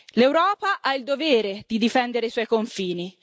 L'Europa ha il dovere di difendere i suoi confini.